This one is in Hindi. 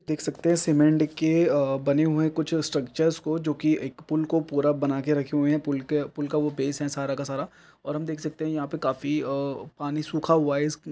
देख सकते है सीमेंट के बने हुए कुछ स्ट्रकचर को जो की एक पुल को बना कर रखे हुए हैं पुल का वो बेस है सारा का सारा और हम देख सकते है यहाँ पर काफी पानी सुखा हुआ है इस--